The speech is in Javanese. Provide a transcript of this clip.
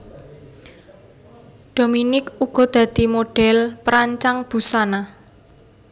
Dominique uga dadi modhèl perancang busana